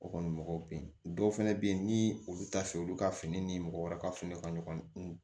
O kɔni mɔgɔw be yen dɔw fɛnɛ be yen ni olu t'a fɛ olu ka fini ni mɔgɔ wɛrɛ ka fini ka ɲɔgɔn